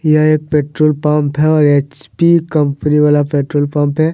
यह एक petrol pump है और एच_पी कंपनी वाला पेट्रोल पम्प है।